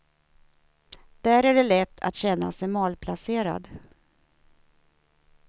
Där är det lätt att känna sig malplacerad.